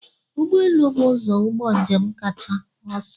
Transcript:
Ụgbọ elu bụ ụzọ ụgbọ njem kacha ọsọ.